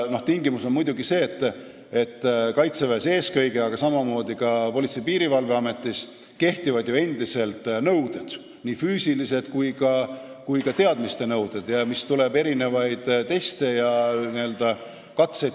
Tingimus on muidugi see, et eelkõige kaitseväes, aga samamoodi politseis ja piirivalves kehtivad ju endiselt nõuded, seal kehtivad füüsilise ettevalmistuse nõuded ja peavad olema ka teatud teadmised.